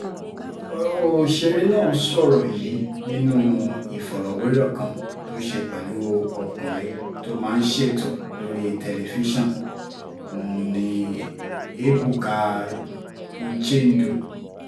ọ̀sẹ̀rẹ̀ náà sọ̀rọ̀ yìí nínú ìfọ̀rọ̀wérọ̀ kan tó ṣe pẹ̀lú ọkùnrin tó máa ń ṣètò lórí tẹlifíṣàn nni ebuka uchendu